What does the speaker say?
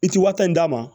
I ti waati in d'a ma